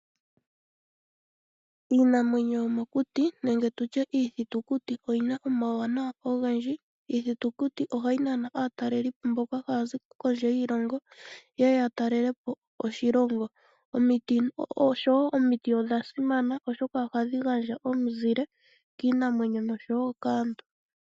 Iinamwenyo yomokuti nenge tutye iithitikuti oyina omawuwanawa ogendji . Iithitikuti ohayi nana aatalelipo mboka haya zi kondje yiilongo yeye ya talelepo oshilongo. Osho woo omiti odha simana oshoka ohadhi gandja omuzile kiinamwenyo nosho woo kaantu.